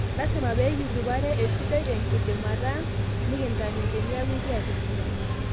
Lasima pikirip ate esidai tenkidimata ang nikintame teniaku ikiata empira.